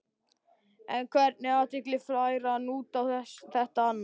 En hvernig athygli fær hann út á þetta annars?